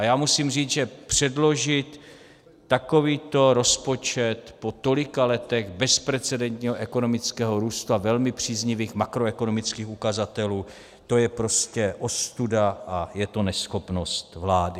A já musím říct, že předložit takový rozpočet po tolika letech bezprecedentního ekonomického růstu a velmi příznivých makroekonomických ukazatelů, to je prostě ostuda a je to neschopnost vlády.